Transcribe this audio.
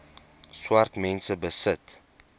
swart mense besit